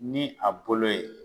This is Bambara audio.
Ni a bolo ye.